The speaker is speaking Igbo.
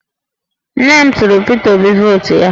Nne m tụnyere Pita Obi vootu ya